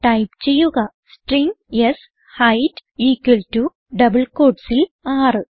type ചെയ്യുക string ഷെയ്ത് equal to double quotesൽ 6